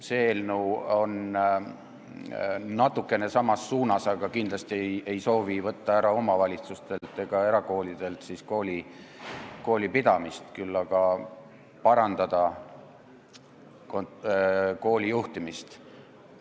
See eelnõu peab natukene silmas sama suunda, aga kindlasti ei soovi omavalitsustelt ja erakoolidelt koolipidamise õigust ära võtta, küll aga parandada koolide juhtimist.